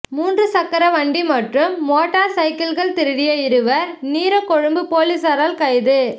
முச்சக்கரவண்டி மற்றும் motor cycle திருடிய இருவர் நீரகொழும்பு பொலிஸாரால் கைது